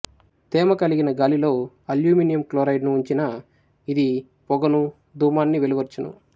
తేమకలిగిన గాలిలో aluminium chloride ను ఉంచిన ఇది పొగను ధూమాన్ని వెలువర్చును